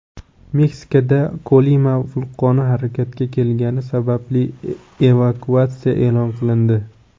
Meksikada Kolima vulqoni harakatga kelgani sababli evakuatsiya e’lon qilindi.